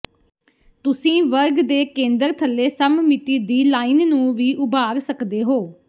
ਤੁਸੀਂ ਵਰਗ ਦੇ ਕੇਂਦਰ ਥੱਲੇ ਸਮਮਿਤੀ ਦੀ ਲਾਈਨ ਨੂੰ ਵੀ ਉਭਾਰ ਸਕਦੇ ਹੋ